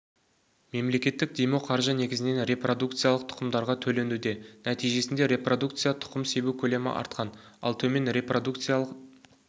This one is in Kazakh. мемлекеттік демеуқаржы негізінен репродукиялық тұқымдарға төленуде нәтижесінде репродукциялы тұқым себу көлемі артқан ал төмен репродукциялы